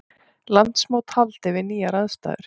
Landsmót haldið við nýjar aðstæður